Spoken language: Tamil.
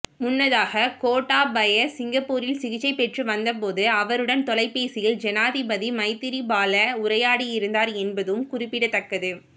முன்னதாக கோட்டாபய சிங்கப்பூரில் சிகிச்சை பெற்றுவந்தபோது அவருடன் தொலைபேசியில் ஜனாதிபதி மைத்திரிபால உரையாடியிருந்தார் என்பதும் குறிப்பிடத்தக்கது